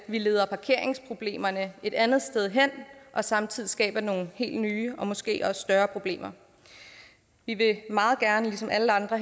vi leder parkeringsproblemerne et andet sted hen samtidig skaber nogle helt nye og måske større problemer vi vil meget gerne ligesom alle andre